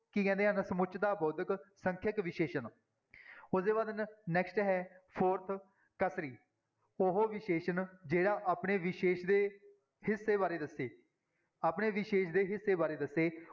ਕੀ ਕਹਿੰਦੇ ਹਨ ਸਮੁੱਚਤਾ ਬੋਧਕ ਸੰਖਿਅਕ ਵਿਸ਼ੇਸ਼ਣ ਉਹਦੇ ਬਾਅਦ next ਹੈ fourth ਉਹ ਵਿਸ਼ੇਸ਼ਣ ਜਿਹੜਾ ਆਪਣੇ ਵਿਸ਼ੇਸ਼ ਦੇ ਹਿੱਸੇ ਬਾਰੇ ਦੱਸੇ, ਆਪਣੇ ਵਿਸ਼ੇਸ਼ ਦੇ ਹਿੱਸੇ ਬਾਰੇ ਦੱਸੇ।